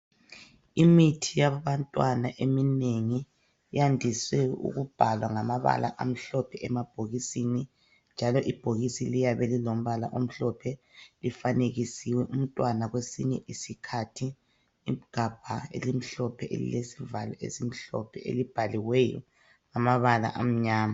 Imithi yabantwana eminengi yandiswe ukubhalwa ngamabala amhlophe emabhokisini njalo ibhokisi liyabe lilombala omhlophe lifanekisiwe umtwana kwesinye isikhathi igabha elimhlophe elilesivalo esimhlophe elibhaliweyo ngamabala amnyama